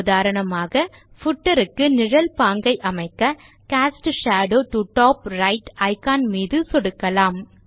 உதாரணமாக பூட்டர் க்கு நிழல் பாங்கை அமைக்க cast shadow to top right icon மீது சொடுக்கலாம்